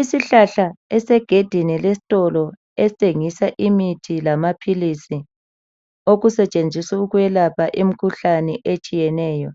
Isihlahla esisesangweni lesitolo esithengisa imithi lamaphilizi okusetshenziswa ukwelapha imikhuhlane etshiyeneyo